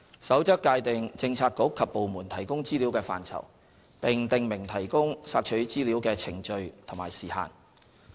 《守則》界定政策局及部門提供資料的範疇，並訂明提供索取資料的程序及時限。